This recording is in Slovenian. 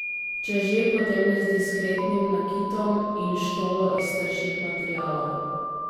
Če že, potem z diskretnim nakitom in štolo iz trših materialov.